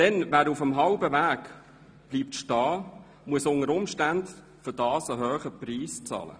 Denn wer auf halbem Weg stehen bleibt, muss unter Umständen einen hohen Preis dafür bezahlen;